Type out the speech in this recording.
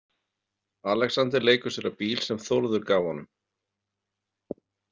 Alexander leikur sér að bíl sem Þórður gaf honum.